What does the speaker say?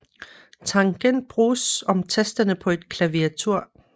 Tangent bruges om tasterne på et klaviatur